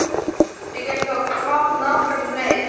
Við gætum þá kvatt nágrannana um leið.